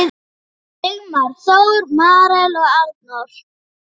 Við það stendur enn.